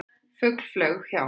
Fugl flaug hjá.